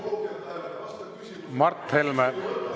Mart Helme!